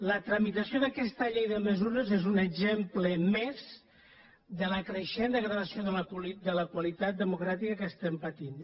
la tramitació d’aquesta llei de mesures és un exemple més de la creixent degradació de la qualitat democràtica que estem patint